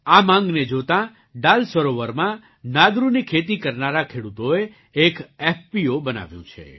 આ માગને જોતાં ડલ સરોવરમાં નાદરુની ખેતી કરનારા ખેડૂતોએ એક એફપીઓ બનાવ્યું છે